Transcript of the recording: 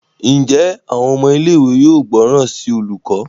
Njé Àwọn ọmọ ilé ìwé yóò gbóròn sí olùkó?